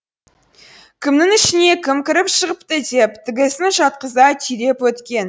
кімнің ішіне кім кіріп шығыпты деп тігісін жатқыза түйреп өткен